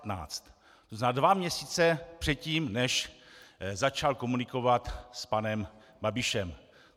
To znamená dva měsíce předtím, než začal komunikovat s panem Babišem.